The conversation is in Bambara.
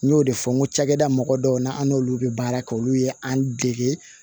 N y'o de fɔ n ko cakɛda mɔgɔ dɔw na an n'olu bɛ baara kɛ olu ye an dege